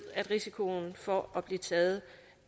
at risikoen for at blive taget